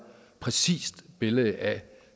præcist billede af